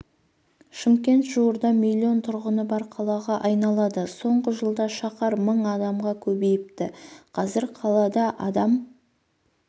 шымкент жуырда миллион тұрғыны бар қалаға айналады соңғы жылда шаһар мың адамға көбейіпті қазір қалада адам